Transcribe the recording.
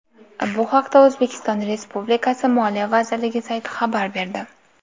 Bu haqda O‘zbekiston Respublikasi Moliya vazirligi sayti xabar berdi .